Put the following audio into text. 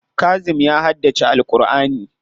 Kazim ya haddace Al'kur'ani.